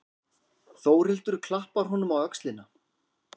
Þórhildur klappar honum á öxlina.